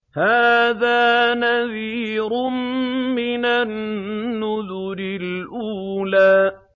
هَٰذَا نَذِيرٌ مِّنَ النُّذُرِ الْأُولَىٰ